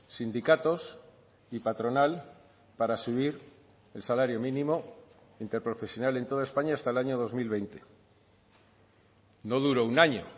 sindicatos y patronal para subir el salario mínimo interprofesional en toda españa hasta el año dos mil veinte no duró un año